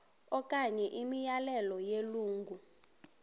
okanye imiyalelo yelungu